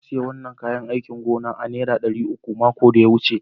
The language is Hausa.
Na siya wanan kayán áikìn gona a'nera Dari uku makon da ta wuce.